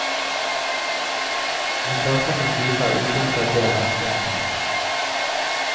Vi starter med en pipe av ukjent datering. punktum